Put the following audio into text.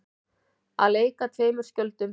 Að leika tveimur skjöldum